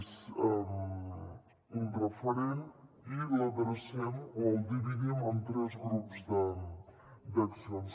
és un referent i l’adrecem o el dividim en tres grups d’accions